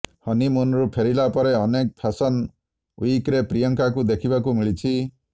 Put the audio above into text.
ହନିମୁନରୁ ଫେରିଲା ପରେ ଅନେକ ଫ୍ୟାସନ ୱିକ୍ରେ ପ୍ରିୟଙ୍କାଙ୍କୁ ଦେଖିବାକୁ ମିଳିଛି